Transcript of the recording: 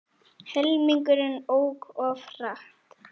Helmingurinn ók of hratt